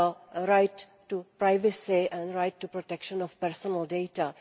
the right to privacy and the right to the protection of personal data.